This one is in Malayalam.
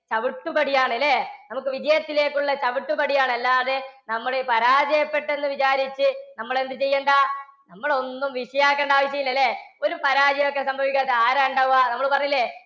ചവിട്ടുപടിയാണ് ഇല്ലേ? നമുക്ക് വിജയത്തിലേക്കുള്ള ചവിട്ടുപടിയാണ്. അല്ലാതെ നമ്മുടെ ഈ പരാജയപ്പെട്ടെന്ന് വിചാരിച്ച് നമ്മൾ എന്ത് ചെയ്യേണ്ട? നമ്മൾ ഒന്നും വിഷയം ആക്കേണ്ട ആവശ്യമില്ല അല്ലേ? ഒരു പരാജയം ഒക്കെ സംഭവിക്കാത്ത ആരാ ഉണ്ടാവുക? നമ്മൾ പറഞ്ഞില്ലേ,